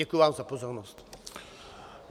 Děkuji vám za pozornost.